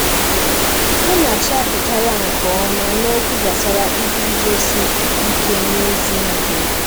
Munachi apụtala nke ọma n'okwu gbasara iguzosi ike n'ezi ihe.